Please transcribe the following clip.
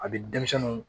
A bɛ denmisɛniw